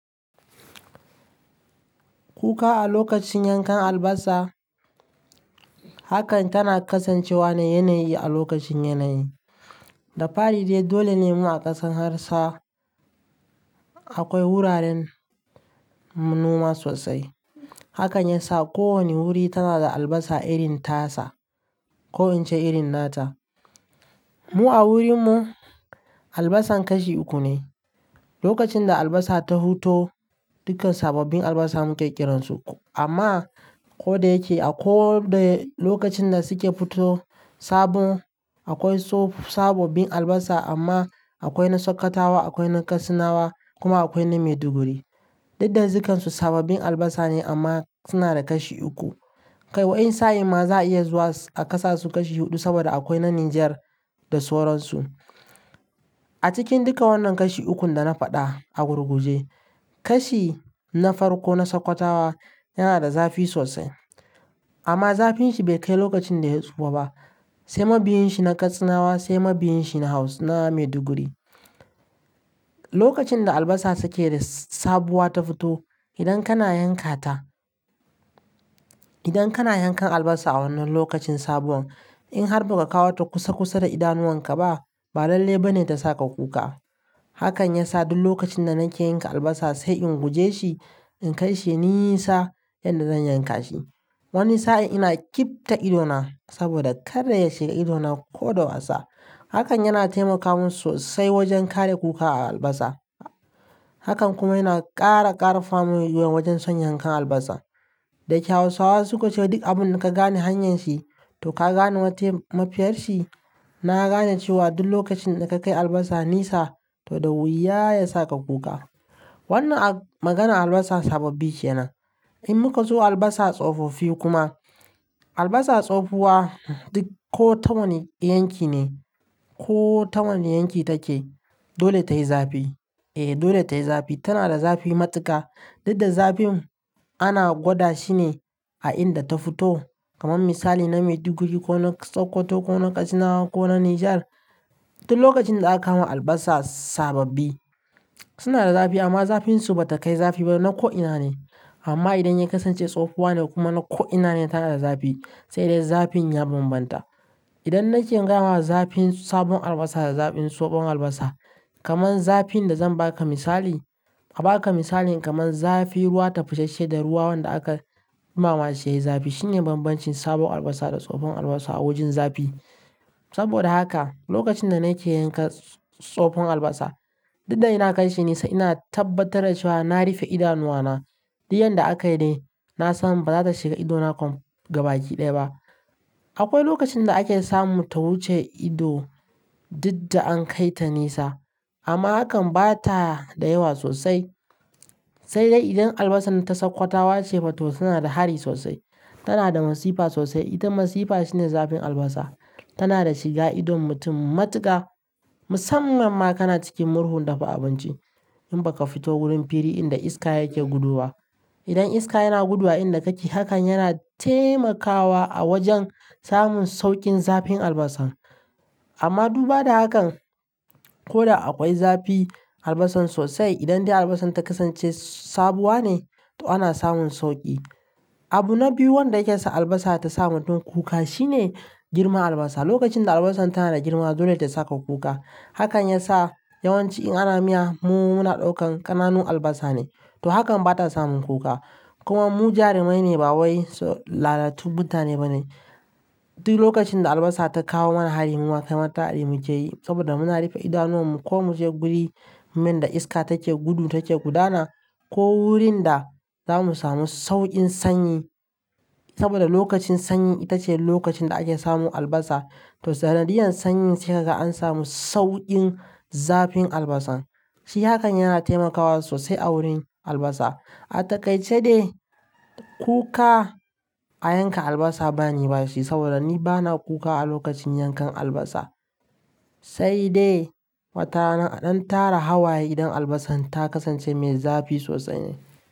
Kuka a lokacin yankan albasa, hakan tana kasancewa ne yanayi a lokacin yanayi. Da fari dai dole ne mu a ƙasar Hausa akwai wuraren noma sosai. Hakan yasa ko wane wuri tana da albasa irin tasa ko in ce irin nata. Mu a wurin mu, albasan kashi uku ne. Lokacin da albasa ta huto, dukkan sababbin albasa muke ƙiransu. Amma ko da yake a ko da lokacin da suke fito sabon akwai sabobbin albasa amma akwai na Sokotawa, akwai na Katsinawa kuma akwai na Maiduguri. Duk da dukkan su sababbin albasa ne amma suna da kashi uku. Kai wani sa'in ma za a iya zuwa a ƙasa su kashi huɗu saboda akwai na Nijar da sauransu. A cikin duka wannan kashi ukun da na faɗa a gurguje, kashi na farko na Sokotawa yana da zafi sosai. Amma zafin shi bai kai lokacin da ya tsufa ba. Sai mabiyin shi na Katsinawa, sai mabiyin shi na Haus na Maiduguri. Lokacin da albasa suke da sabuwa ta fito, idan kana yanka ta, idan kana yankan albasa a wannan lokacin sabuwan, in har baka kawo ta kusa kusa da idanuwan ka ba, balalle ba ne ta saka kuka. Hakan ya sa duk lokacin da nake yanka albasa sai in guje shi in kai shi nisa yadda zan yanka shi. Wani sa'in ina kif ta idona saboda kadda ya shiga ido na ko da wasa. Hakan yana taimakamin sosai wajen kare kuka a albasa. Hakan kuma yana ƙara ƙarfafa mu wajen son yankan albasa. Da ke Hausawa suka ce "duk abun da ka gane hanyar shi to ka gane wacce mafiyar shi", na gane cewa duk lokacin da ka kai albasa nesa to da wuya ya saka kuka. Wannan maganan albasa sabbabi ce nan. In muka zo albasa tsofofi kuma, albasa tsofuwa duk ko ta wani yanki ne ko ta wane yanki take, dole ta yi zafi. E, dole tayi zafi. Tana da zafi matuka. Dukk da zafin ana gwada shi ne a inda ta fito. Kaman misali na Maiduguri ko na Sokoto ko na Katsina ko na Nijar, duk lokacin da aka kawo albasa sababbi suna da zafi amma zafin su bata kai zafi ba na ko'ina ne. Amma idan ya kasance tsofuwa ne kuma na ko'ina ne tana da zafi, sai dai zafin ya bambanta. Idan nake gama zafin sabon albasa da zafin tsofon albasa, kaman zafin da zan baka misali, a baka misalin kaman zafi ruwa ta fusashshe da ruwa wanda aka yi mama shi yayi zafi. Shine bambancin sabon albasa da tsofon albasa a wajen zafi. Saboda haka, lokacin da nake yanka tsofon albasa, duk da ina kai shi nesa ina tabbatar da cewa na rufe idanuwana. Duk yadda aka yi de, na san baza ta shiga ido na gabaki ɗaya ba. Akwai lokacin da ake samu ta wuce ido duk da an kai ta nesa. Amma hakan bata da yawa sosai. Sai dai idan albasan ta Sokotawa ce fito tana da hari sosai. Tana da masifa sosai. Ita masifa shine zafin albasa. Tana da shiga idon mutum matuka. Musamman ma kana cikin murhun dafa abinci in baka fito wurin firi inda iska yake gudowa. Idan iska yana gudu a inda kake, hakan yana taimakawa a wajen samun sauƙin zafin albasan. Amma duba da hakan, ko da akwai zafi albasan sosai, idan dai albasan ta kasance sabuwa ne to ana samun sauƙi. Abu na biyu wanda yake sa albasa ta sa mutum kuka shine girman albasa. Lokacin da albasan tana da girma, dole ta saka kuka. Hakan ya sa yawanci in ana miya mu muna ɗaukan ƙananun albasa ne. To hakan bata sa mun kuka. Kuma mu jarumai ne ba wai lalatu mutane bane. Duk lokacin da albasa ta kawo mana hari muwa kai matar hari mu ke yi saboda muna rufe idanuwan mu ko mu je guri man da iska take gudu take gudana ko wurin da zamu samu sauƙin sanyi. Saboda lokacin sanyi ita ce lokacin da ake samun albasa. To sanadiyan sanyi sai haka an samu sauƙin zafin albasan. Shi hakan yana taimakawa sosai a wurin albasa. A takaice dai kuka a yanka albasa bani bashi saboda ni bana kuka a lokacin yankan albasa. Sai dai matana don tara hawaye idan albasan ta kasance mai zafi sosai ne.